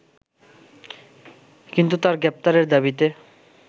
কিন্তু তার গ্রেপ্তারের দাবিতে